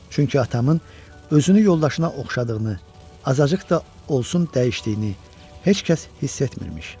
Çünki atamın özünü yoldaşına oxşadığını, azacıq da olsun dəyişdiyini heç kəs hiss etmirmiş.